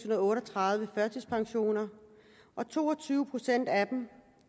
og otteogtredive førtidspensioner og to og tyve procent af dem